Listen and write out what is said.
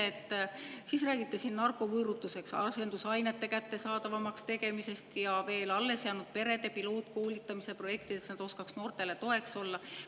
Ja siis räägite narkovõõrutuseks asendusainete kättesaadavamaks tegemisest ja veel alles jäänud perede pilootkoolitamise projektidest, et nad oskaks noortele toeks olla.